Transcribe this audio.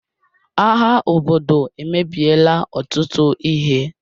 Agha obodo emebiela ọtụtụ ihe.